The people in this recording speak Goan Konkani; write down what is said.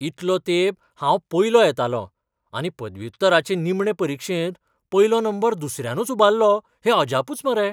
इतलो तेंप हांव पयलो येतालों, आनी पदव्युत्तराचे निमणे परिक्षेंत पयलो नंबर दुसऱ्यानच उबाल्लो हें अजापूच मरे.